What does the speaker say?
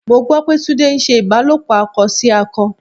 Mo gbọ́ pé Túndé ń ṣe ìbálòpọ̀ akọ sí akọ.